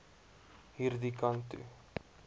hierdie kant toe